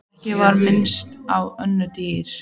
Ekki var minnst á önnur dýr.